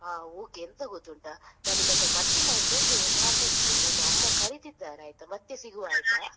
ಹಾ okay ಎಂತ ಗೊತ್ತುಂಟಾ? ಆ ನಾನ್ ನಿಮ್ಹತ್ರ ಮತ್ತೆ ಮಾಡತ್ತೇನೆ ಮತ್ತೆ ಮಾತಾಡತ್ತೇನೆ, ನನ್ನ ಅಮ್ಮ ಕರೀತಿದ್ದಾರೆ ಆಯ್ತಾ? ಮತ್ತೆ ಸಿಗುವ ?